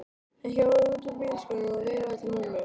Hann hjólaði út úr bílskúrnum og veifaði til mömmu.